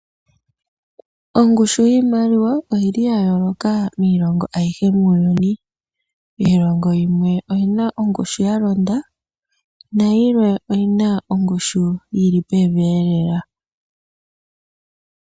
Ongushu yiimaliwa oyi li ya yooloka miilongo ayihe muuyuni. Miilongo yimwe oyi na ongushu ya londa, nayimwe oyi na ongushu yi li pevi lela.